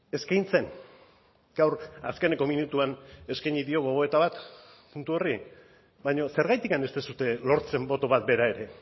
eskaintzen gaur azkeneko minutuan eskaini dio gogoeta bat puntu horri baina zergatik ez duzue lortzen boto bat bera ere